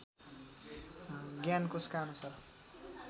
ज्ञान कोषका अनुसार